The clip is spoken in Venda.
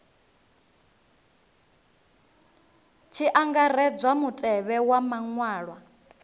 tshi angaredzwa mutevhe wa maṅwalwa